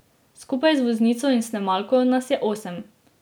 Skupaj z voznico in snemalko nas je osem.